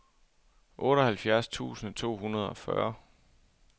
otteoghalvfjerds tusind to hundrede og fyrre